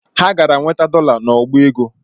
Ha gara nwete dola n’ọbaego